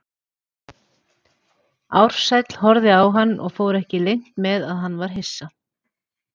Ársæll horfði á hann og fór ekki leynt með að hann var hissa.